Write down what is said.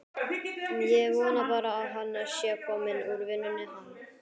Ég vona bara að hann sé kominn úr vinnunni, hann.